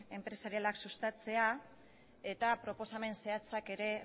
enpresarialak sustatzea eta proposamen zehatzak ere